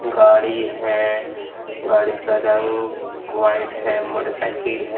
गाड़ी है गाड़ी का रंग व्हाइट है मोटरसाइकिल है।